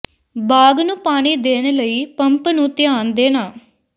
ਬਾਗ਼ ਨੂੰ ਪਾਣੀ ਦੇਣ ਲਈ ਪੰਪ ਨੂੰ ਧਿਆਨ ਦੇਣਾ